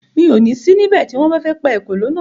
Mi ò ní sí ní bẹ̀ tí wọ́n bá fẹ́ pa èkòló naa